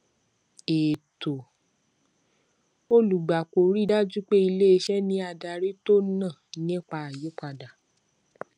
ètò olùgbapò rí i dájú pé iléiṣẹ ní adarí tọnà nígbà àyípadà